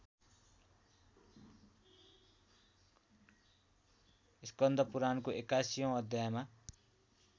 स्कन्द पुरानको ८१ औँ अध्यायमा